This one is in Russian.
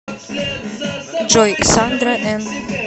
джой сандра эн